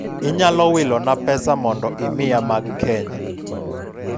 inyalo wilo na pesa mondo imiya mag kenya?